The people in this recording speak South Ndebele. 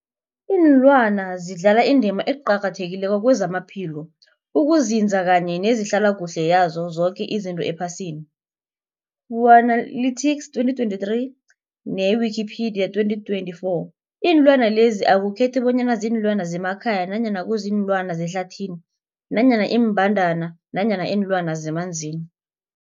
Ilwana zidlala indima eqakathekileko kezamaphilo, ukunzinza kanye nezehlala kuhle yazo zoke izinto ephasini, Fuanalytics 2023, ne-Wikipedia 2024. Iinlwana lezi akukhethi bonyana ziinlwana zemakhaya nanyana kuziinlwana zehlathini nanyana iimbandana nanyana iinlwana zemanzini.